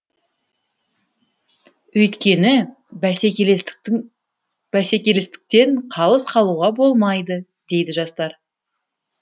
өйткені бәсекелестіктен қалыс қалуға болмайды дейді жастар